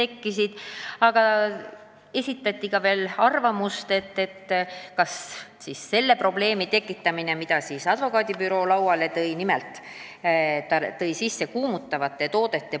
Muidugi arutati probleemi, mille advokaadibüroo lauale oli toonud.